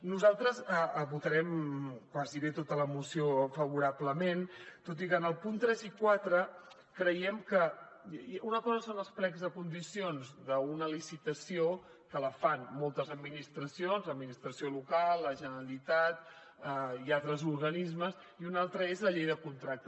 nosaltres votarem gairebé tota la moció favorablement tot i que en els punts tres i quatre creiem que una cosa són els plecs de condicions d’una licitació que la fan moltes administracions l’administració local la generalitat i altres organismes i una altra és la llei de contractes